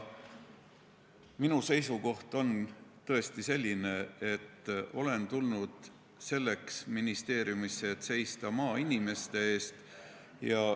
Minu seisukoht on tõesti selline, et olen tulnud ministeeriumisse selleks, et seista maainimeste eest.